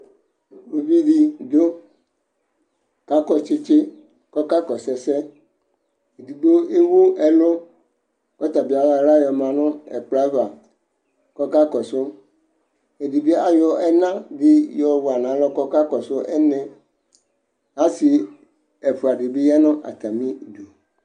Uvi dɩ dʋ ka kɔ tsɩtsɩ kɔka kɔsʋ ɛsɛEdigbo ewu ɛlʋ kɔ ta bɩ ayɔ aɣla yɔ ma n' ɛkplɔ ava kɔka kɔsʋƐdɩ bɩ ayɔ ɛna yɔ wa n'alɔ kɔka kɔ sʋ ɛnɛ Asɩ ɛfʋa dɩ bɩ ya nʋ atamɩ du